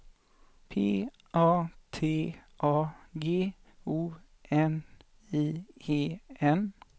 P A T A G O N I E N